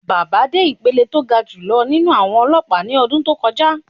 Baba dé ìpele tó ga jù lọ nínú àwọn ọlọ́pàá ní ọdún tó kọjá.